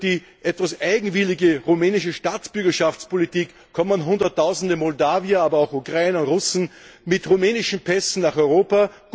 Durch die etwas eigenwillige rumänische Staatsbürgerschaftspolitik kommen Hunderttausende Moldauer, aber auch Ukrainer und Russen, mit rumänischen Pässen nach Europa.